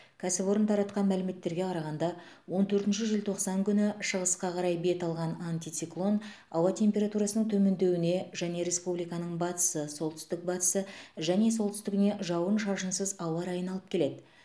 кәсіпорын тартақан мәліметтерге қарағанда он төртінші желтоқсан күні шығысқа қарай бет алған антициклон ауа температурасының төмендеуіне және республиканың батысы солтүсік батысы және солтүстігіне жауын шашынсыз ауа райын алып келеді